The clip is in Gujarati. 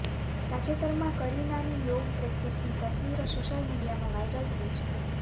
તાજેતરમાં કરીનાની યોગ પ્રેકટિસની તસવીરો સોશિયલ મીડિયામાં વાઇરલ થઈ છે